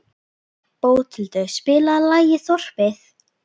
Bóthildur, spilaðu lagið „Þorpið“.